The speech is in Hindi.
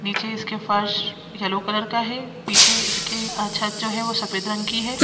नीचे इसके फर्श येलो कलर का है पीछे इसके छत जो है वो सफेद रंग की है।